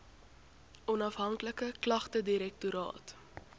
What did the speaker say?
onafhanklike klagtedirektoraat